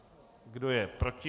Kdo je proti?